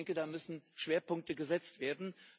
Aber ich denke, da müssen Schwerpunkte gesetzt werden.